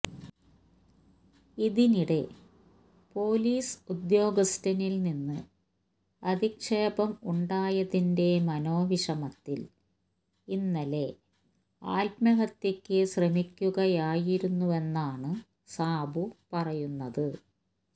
ഇതിനിടെ പൊലീസ് ഉദ്യോഗസ്ഥനിൽ നിന്ന് അധിക്ഷേപം ഉണ്ടായതിന്റെ മനോവിഷമത്തിൽ ഇന്നലെ ആത്മഹത്യയ്ക്ക് ശ്രമിക്കുകയായിരുവെന്നാണ് സാബു പറയുന്നത്